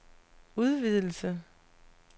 udvidelse